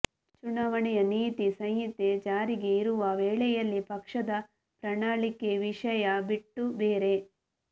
ಚುನಾವಣೆಯ ನೀತಿ ಸಂಹಿತೆ ಜಾರಿಗೆ ಇರುವ ವೇಳೆಯಲ್ಲಿ ಪಕ್ಷದ ಪ್ರಣಾಳಿಕೆ ವಿಷಯ ಬಿಟ್ಟು ಬೇರೆ